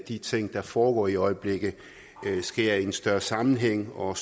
de ting der foregår i øjeblikket sker i en større sammenhæng og